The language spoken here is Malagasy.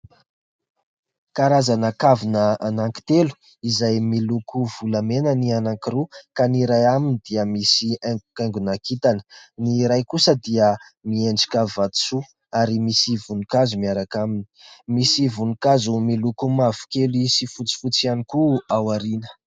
Karazana kavina anankitelo izay miloko volamena ny anankiroa ka ny iray aminy dia misy haingohaingony kintana. Ny iray kosa dia miendrika vatosoa ary misy voninkazo miaraka aminy, misy voninkazo miloko mavokely sy fotsifotsy ihany koa ao aoriana.